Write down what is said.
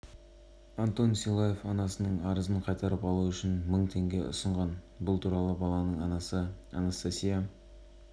анастасия лиге арызын қайтарып алу үшін ақша ұсынған кейін бір айдан соң жүргізушісінің туғандары зардап шеккен